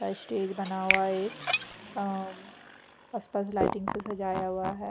अ stage बना हुआ है एक अ म्म आसपास लाइटिंग से सजाया हुआ है।